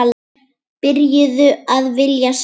Byrjuð að vilja sjá.